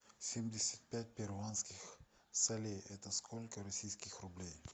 семьдесят пять перуанских солей это сколько российских рублей